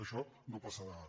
això no passarà ara